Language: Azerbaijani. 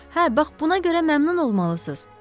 Hə, bax buna görə məmnun olmalısız.